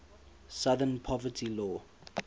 southern poverty law